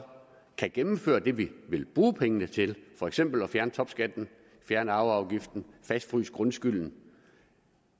kan gennemføre det vi vil bruge pengene til for eksempel at fjerne topskatten fjerne arveafgiften fastfryse grundskylden